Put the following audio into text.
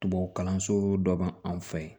Tubabukalanso dɔ b'an fɛ yen